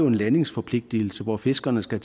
en landingsforpligtelse hvor fiskerne skal